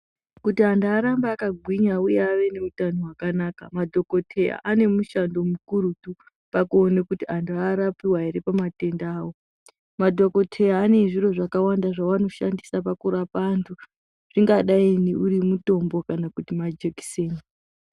Kuti anhu arambe akagwinya uye ave neutano hwakanaka madhokodheya ane mushando mukurutu pakuone kuti anhu arapiwe ere pamatenda awo, madhokodheya ane zviro zvakawanda zvaanoshandisa pakurapa anhu zvingadai uri mutombo kana majekiseni.